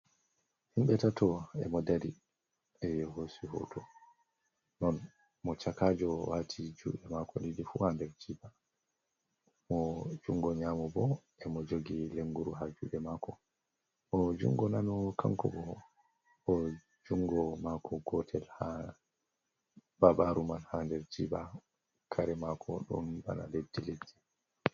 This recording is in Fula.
Himɓɓe tato e modari ɓe hosi hoto non mo chakajo wati juɗe mako ɗiɗi fu nder jiɓa mo jungo nyamo bo e mo jogi lenguru ha ju&e mako mo jungo nano kanko bo jungo mako gotel babaru man ha nder jiɓa kare mako ɗon bana leddi leddi.